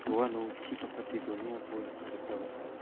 uano chi gapate donengako nikna gita man·a.